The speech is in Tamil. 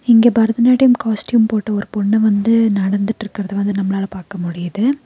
இங்க பரதநாட்டியம் காஸ்ட்யூம் போட்ட ஒரு பொண்ண வந்து நடந்துட்ருக்கறத வந்து நம்மளால பாக்க முடியுது.